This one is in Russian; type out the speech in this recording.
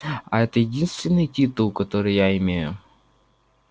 а это единственный титул который я имею